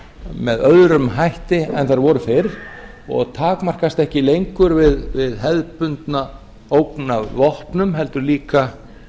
með öðrum hætti en þær voru fyrr og takmarkast ekki lengur við hefðbundna ógn af vopnum heldur líka